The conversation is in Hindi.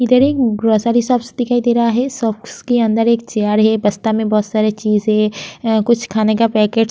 इधर एक ग्रॉसरी शॉप्स दिखाई दे रहा है शॉप्स के अंदर एक है बस्ता में बहुत सारी चीज़ है अ कुछ खाने का पैकेट --